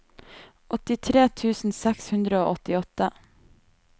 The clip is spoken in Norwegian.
åttitre tusen seks hundre og åttiåtte